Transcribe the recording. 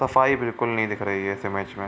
सफाई बिलकुल नहीं दिख रही है इस इमेज में |